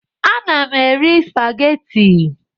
Ana m eri spageti